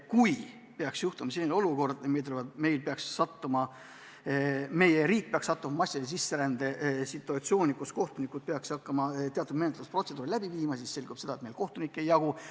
Kui peaks tekkima selline olukord, et riik satub massilise sisserände situatsiooni, siis peaks kohtunikud hakkama teatud menetlusprotseduure läbi viima ja neid lihtsalt ei jaguks.